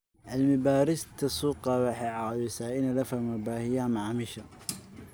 Cilmi-baarista suuqu waxay caawisaa in la fahmo baahiyaha macaamiisha.